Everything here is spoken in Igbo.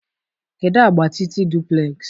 kedụ agba Titi duplex?